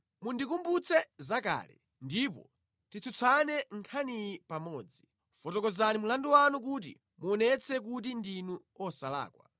Mundikumbutse zakale, ndipo titsutsane nkhaniyi pamodzi; fotokozani mlandu wanu kuti muonetse kuti ndinu osalakwa.